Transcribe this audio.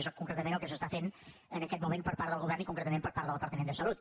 és concretament el que s’està fent en aquest moment per part del govern i concretament per part del departament de salut